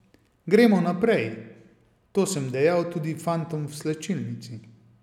Gremo naprej, to sem dejal tudi fantom v slačilnici.